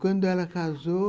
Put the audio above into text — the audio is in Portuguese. Quando ela casou,